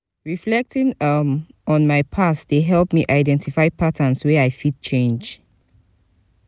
reflecting um on my past dey help me identify patterns wey i fit change.